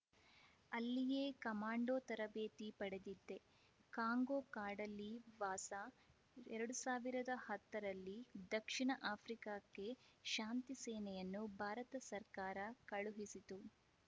ಅಲ್ಲಿಯೇ ಕಮಾಂಡೋ ತರಬೇತಿ ಪಡೆದಿದ್ದೆ ಕಾಂಗೋ ಕಾಡಲ್ಲಿ ವಾಸ ಎರಡು ಸಾವಿರದ ಹತ್ತರಲ್ಲಿ ದಕ್ಷಿಣ ಆಫ್ರಿಕಾಕ್ಕೆ ಶಾಂತಿ ಸೇನೆಯನ್ನು ಭಾರತ ಸರ್ಕಾರ ಕಳುಹಿಸಿತು